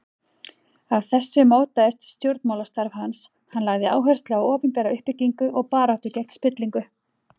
Af þessu mótaðist stjórnmálastarf hans, hann lagði áherslu á opinbera uppbyggingu og baráttu gegn spillingu.